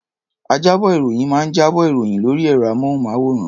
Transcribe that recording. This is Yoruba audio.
Ajábọ̀-ìròyìn máa ń jábọ̀ ìròyìn lórí ẹ̀rọ-amóhùnmáwòrán.